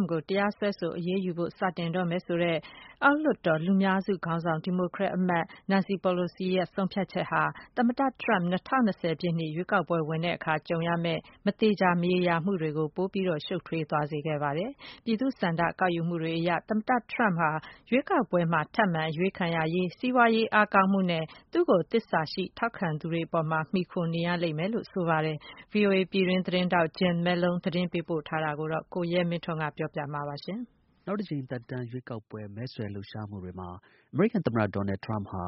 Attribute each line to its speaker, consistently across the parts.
Speaker 1: မ့်ကို တရားစွဲဆို အရေးယူဖို့ စတင် လုပ်ဆောင်တော့မယ် ဆိုတဲ့ အောက်လွှတ်တော် လူများစု ခေါင်းဆောင် ဒီမိုကရက် အမတ် နန်စီ ပီလိုစီရဲ့ ဆုံးဖြတ်ချက်ဟာ သမ္မတ ဒေါ်နယ်ထရမ့် ၂၀၂၀ ပြည့်နှစ် ရွေးကောက်ပွဲ ဝင်တဲ့အခါ ကြုံတွေ့ရမယ့် မသေချာမရေရာမှု အခြေအနေတွေကို ပိုမို ရှုပ်ထွေးသွားစေခဲ့ပါတယ်။ ပြည်သူ့ သဘောထား ဆန္ဒ ကောက်ယူမှုတွေအရ တော့ သမ္မတ ထရမ့်ဟာ ရွေးကောက်ပွဲဝင်မယ့် လက်ရှိ သမ္မတတစ်ယောက်အနေနဲ့ အားနည်းတဲ့ အနေအထားမှာ ရှိနေပြီး ထပ်မံ အရွေးခံရ ရေး စီးပွားရေး အားကောင်းမှုနဲ့ သူ့ကို သစ္စာရှိ ထောက်ခံသူတွေ အပေါ်မှာ မှီခိုနေရလိမ့်မယ်လို့ ဆိုပါတယ်။ VOA သတင်းထောက် Jim Malone သတင်းပေးပို့ထားတာကို ကိုရဲမင်းထွန်းက ပြောပြမှာပါ။ နောက်သက်တမ်း ထပ်မံ အရွေးခံဖို့ မဲဆွယ်လှုပ်ရှားမှုတွေမှာ အမေရိကန်သမ္မတ ဒေါ်နယ် ထရမ့်ဟာ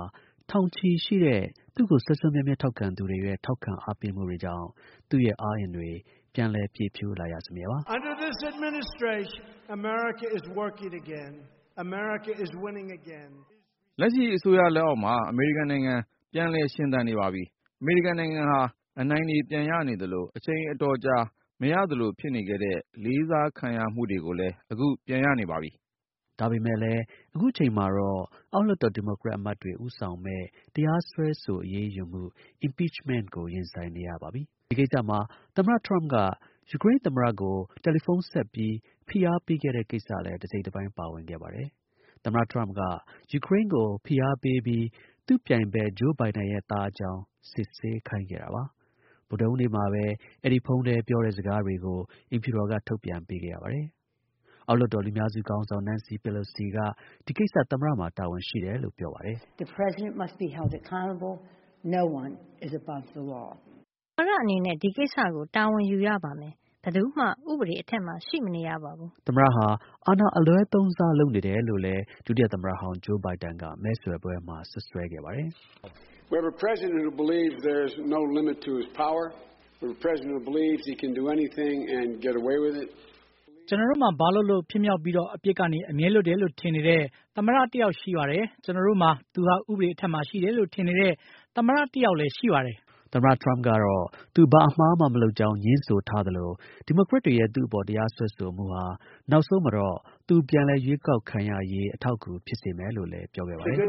Speaker 1: ထောင်ချီရှိတဲ့ သူ့ကို ထောက်ခံသူတွေရဲ့ စွမ်းအားကြောင့် သူ့ရဲ့ အားအင်တွေ ပြန်လည် ပြည့်ဖြိုးလာရစမြဲပါ။ “ လက်ရှိ အစိုးရလက်အောက်မှာ အမေရိကန်နိုင်ငံ ပြန်လည် ရှင်သန်နေပါပြီ။ အမေရိကန်နိုင်ငံဟာ အနိုင်တွေ ပြန်ရနေသလို အချိန် အတော်ကြာ မရသလို ဖြစ်နေခဲ့တဲ့ လေးစားခံရမှုတွေကိုလည်း အခု ပြန် ရနေပါပြီ။” ဒါပေမဲ့လည်း အခုအချိန်မှာတော့ အောက်လွှတ်တော် ဒီမိုကရက် အမတ်တွေ ဦးဆောင်မယ့် တရားစွဲဆို အရေးယူမှု (impeachment) ကို ရင်ဆိုင်နေရ ပါပြီ။ ဒီကိစ္စမှာ သမ္မတ ထရမ့်က ယူကရိန်း သမ္မတကို ဖုန်းခေါ်ပြီး ဖိအားပေးခဲ့တဲ့ကိစ္စလည်း တစ်စိတ်တစ်ပိုင်း ပါဝင်ခဲ့ပါတယ်။ သမ္မတ ထရမ့်က ယူကရိန်းကို ဖိအားပေးပြီး သူ့ ပြိုင်ဖက် Joe Biden ရဲ့ သားအကြောင်း စစ်ဆေးခိုင်းခဲ့ပါတယ်။ ဗုဒ္ဓဟူးနေ့မှာပဲ အဲဒီ ဖုန်းထဲ ပြောတဲ့စကားတွေကို အိမ်ဖြူတော်က ထုတ်ပြန်ပေးခဲ့ရပါတယ်။ အောက်လွှတ်တော် လူများစု ခေါင်းဆောင် နန်စီ ပီလိုစီက ဒီကိစ္စ သမ္မတမှာ တာဝန်ရှိတယ်လို့ ပြောပါတယ်။ “ သမ္မတအနေနဲ့ ဒီကိစ္စကို တာဝန်ယူရပါမယ်။ ဘယ်သူမှ ဥပဒေအထက်မှာ ရှိမနေရပါဘူး။ ” သမ္မတဟာ အာဏာ အလွဲသုံးစား လုပ်နေတယ်လို့ ဒုတိယ သမ္မတ ဟောင်း Biden ကလည်း မဲဆွယ်ပွဲမှာ စွပ်စွဲခဲ့ပါတယ်။ “ ကျွန်တော်တို့မှာ ဘာလုပ်လုပ် ဖြစ်မြောက်ပြီး အပြစ်ကနေ အမြဲလွတ်တယ်လို့ ထင်နေတဲ့ သမ္မတ တစ်ယောက်ရှိတယ်။ ကျွန်တော်တို့မှာ သူ ဟာ ဥပဒေ အထက်မှာ ရှိတယ်လို့ ထင်နေတဲ့ သမ္မတတစ်ယောက်လည်း ရှိတယ်။” သမ္မတ ထရမ့်ကတော့ သူ ဘာအမှားမှ မလုပ်ကြောင်း ငြင်းဆိုသလို ဒီမိုကရက်တွေရဲ့ သူ့အပေါ် တရားစွဲဆိုမှုဟာ နောက်ဆုံးမှာ သူ ပြန်လည် ရွေးကောက်ခံရေး အထောက်အကူ ဖြစ်စေမယ်လို့ လည်းပြောခဲ့ပါတယ်။ “ သ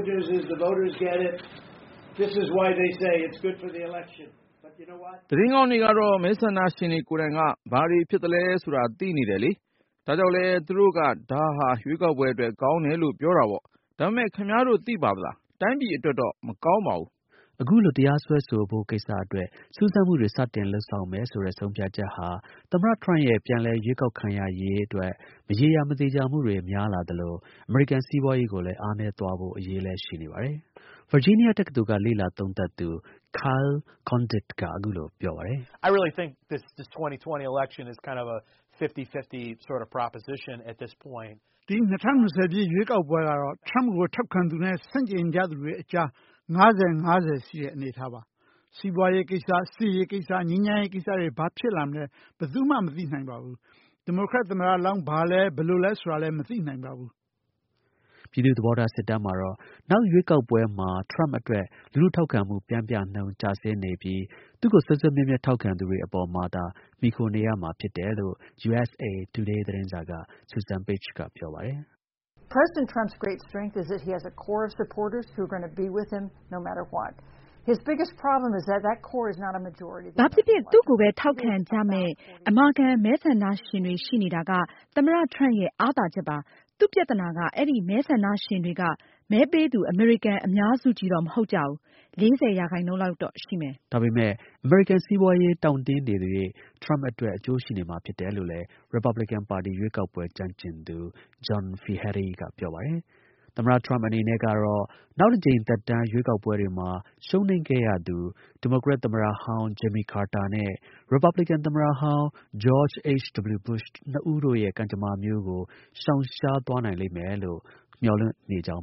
Speaker 1: တင်းကောင်းကတော့ မဲဆန္ဒရှင်တွေကိုယ်တိုင်က ဘာတွေဖြစ်သလဲဆိုတာ သိနေတယ်လေ။ ဒါကြောင့်လည်း သူတို့က ဒါဟာ ရွေးကောက်ပွဲအတွက် ကောင်းတယ်လို့ ပြောတာပေါ့။ ဒါပေမဲ့ ခင်ဗျားတို့ သိသလား။ တိုင်းပြည်အတွက်တော့ မကောင်းဘူး။” အခု လို တရားစွဲဆိုဖို့ကိစ္စအတွက် စူးစမ်းမှုတွေ စတင်လုပ်မယ်ဆိုတဲ့ ဆုံးဖြတ်ချက်ဟာ သမ္မတ ထရမ့်ရဲ့ ပြန်လည် ရွေးကောက်ခံရရေးအတွက် မရေရာ မသေချာမှုတွေ ပိုများလာသလို အမေရိကန် စီးပွားရေးကို အားနည်းသွားဖို့ အရေးလည်း ရှိနေပါတယ်။ “ ဒီ ၂၀၂၀ ရွေးကောက်ပွဲကတော့ ထရမ့်ကိုထောက်ခံသူနဲ့ ဆန့်ကျင်သူတွေအကြား ၅၀-၅၀ ရှိတဲ့ အနေအထားပါ။ စီးပွားရေး ကိစ္စ၊ စစ်ကိစ္စနဲ့ ငြိမ်းချမ်ရေး ကိစ္စတွေ ဘာဖြစ်လာမလဲ ဘာမှာ မသိနိုင်ဘူး။ ဒီမိုကရက် သမ္မတလောင်း ဘာလဲ ဘယ်လိုလဲ မသိနိုင်ဘူး။” ပြည်သူ့ သဘောထား စစ်တမ်းမှာတော့ နောက်ရွေးကောက်ပွဲမှာ ထရမ့်အတွက် လူထုထောက်ခံမှု ပျမ်းမျှနှုန်း ကျဆင်းနေပြီး သူ့ကို စွဲစွဲမြဲမြဲ ထောက်ခံသူတွေ အပေါ်မှာသာ မှီခိုနေရမှာ ဖြစ်ပါတယ်လို့ USA Today သတင်းစာက Susan Page က ပြောပါတယ်။ “ ဘာဖြစ်ဖြစ် သူ့ကိုပဲ ထောက်ခံကြမယ့် အမာခံ မဲဆန္ဒရှင်တွေရှိနေတာက သမ္မတ ထရမ့်ရဲ့ အားသာချက်ပါ။ သူ့ ပြဿနာက အဲဒီ မဲဆန္ဒရှင် တွေက မဲပေးသူ အမေရိကန် အများစုကြီးတော့ မဟုတ်ကြဘူး။ ၄၀ ရာခိုင်နှုန်းလောက်တော့ ရှိမယ်။ ” ဒါပေမဲ့ စီးပွားရေး တောင့်တင်းနေသရွေ့ ထရမ့်အတွက် အကျိုးရှိနေမှာဖြစ်တယ်လို့လည်း ရီပတ်ဘလစ်ကင်ပါတီ ရွေးကောက်ပွဲ ကျွမ်းကျင်သူ John Feehery က ပြောပါတယ်။ သမ္မတ ထရမ့် အနေနဲ့ကတော့ နောက်တစ်ကြိမ် သက်တမ်း ရွေးကောက်ပွဲတွေမှာ ရှုံးနိမ့်ခဲ့ရသူ ဒီမိုကရက် သမ္မတဟောင်း Jimmy Carter နဲ့ ရီပတ်ဘလစ်ကန် သမ္မတဟောင်း George H. W Bush တို့နှစ်ဦးရဲ့ ကံကြမ္မာမျိုးကို ရှောင်ရှားနိုင်လိမ့်မယ်လို့တော့ မျှော်လင့်နေကြောင်